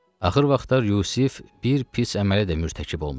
Axır vaxtlar Yusif bir pis əmələ də mürtəkib olmuşdu.